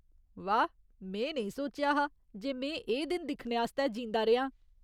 वाह्, में नेईं सोचेआ हा जे में एह् दिन दिक्खने आस्तै जींदा रेहां ।